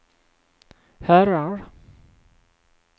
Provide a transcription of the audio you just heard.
herrar